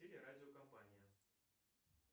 телерадиокомпания